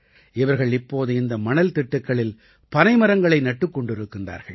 இவர்கள் இப்போது இந்த மணல் திட்டுக்களில் பனை மரங்களை நட்டுக் கொண்டிருக்கிறார்கள்